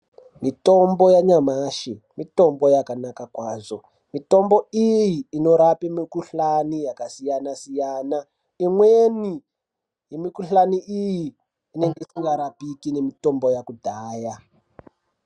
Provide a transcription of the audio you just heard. Mitombo yashamashi mitombo yakanaka kwazvo, mitombo iyi inorape mikuhlani yakasiyana-siyana, imweni yemikuhlani iyi ,inenge isingarapiki nemitombo yakudhaya.